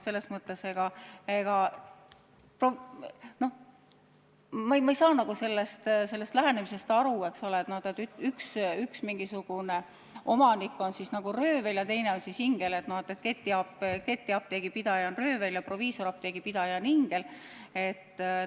Selles mõttes ma ei saa sellest lähenemisest aru, et üks omanik on nagu röövel ja teine on ingel: et ketiapteegi pidaja on röövel ja proviisoriapteegi pidaja on ingel.